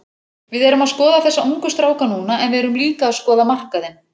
Við erum að skoða þessa ungu stráka núna en við erum líka að skoða markaðinn.